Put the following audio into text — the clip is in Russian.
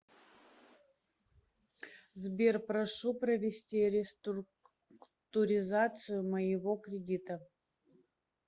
сбер прошу провести реструктуризацию моего кредита